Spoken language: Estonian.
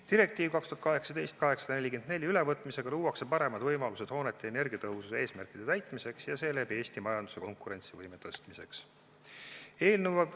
Direktiivi 2018/844 ülevõtmisega luuakse paremad võimalused hoonete energiatõhususe eesmärkide täitmiseks ja seeläbi Eesti majanduse konkurentsivõime parandamiseks.